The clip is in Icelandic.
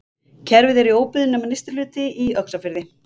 Kerfið er í óbyggðum nema nyrsti hlutinn í Öxarfirði.